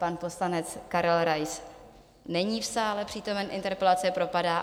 Pan poslanec Karel Rais není v sále přítomen, interpelace propadá.